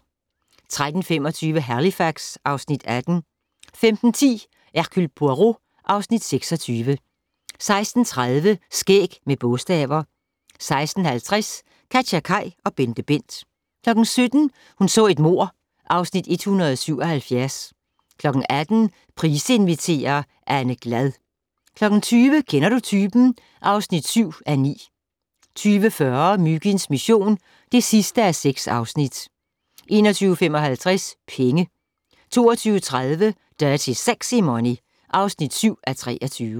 13:25: Halifax (Afs. 18) 15:10: Hercule Poirot (Afs. 26) 16:30: Skæg med bogstaver 16:50: KatjaKaj og BenteBent 17:00: Hun så et mord (Afs. 177) 18:00: Price inviterer - Anne Glad 20:00: Kender du typen? (7:9) 20:40: Myginds mission (6:6) 21:55: Penge 22:30: Dirty Sexy Money (7:23)